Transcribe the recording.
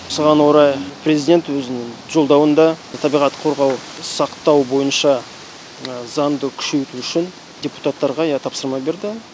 осыған орай президент өзінің жолдауында табиғатты қорғау сақтау бойынша заңды күшейту үшін депутаттарға иә тапсырма берді